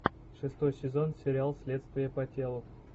шестой сезон сериал следствие по телу